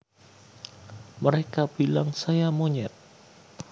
Mereka Bilang Saya Monyet